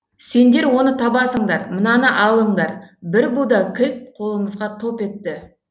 сендер оны табасыңдар мынаны алыңдар бір буда кілт қолымызға топ етті